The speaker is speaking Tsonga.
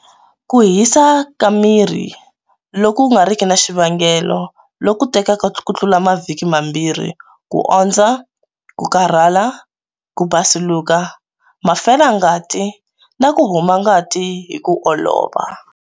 Ku hisa ka miri loku nga riki na xivangelo loku tekaka kutlula mavhiki mambirhi, ku ondza, ku karhala, ku basuluka, mafelangati na ku huma ngati hi ku olova.